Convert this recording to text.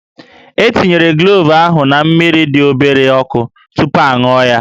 E tinyere klove ahụ na mmiri dị obere ọkụ tupu a ṅụọ ya